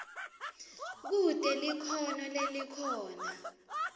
kute likhono lelikhona